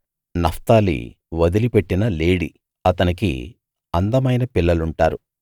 Naphtali వదిలిపెట్టిన లేడి అతనికి అందమైన పిల్లలుంటారు